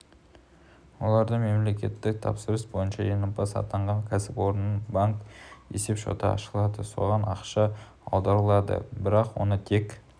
оларда мемлекеттік тапсырыс бойынша жеңімпаз атанған кәсіпорынның банк есеп-шоты ашылады соған ақша аударылады бірақ оны тек